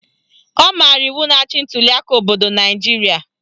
Ọ maara iwu na-achị ntuliaka obodo Naijiria